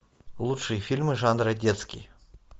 лучшие фильмы жанра детский